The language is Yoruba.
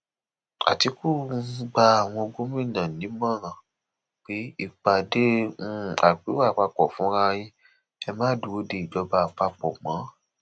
àtìkù um gba àwọn gómìnà nímọẹ pé ìpàdé um àpérò àpapọ fúnra yín ẹ má dúró de ìjọba àpapọ mọ